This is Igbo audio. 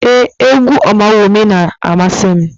Ee, égwú Ọmawumi na-amasị m.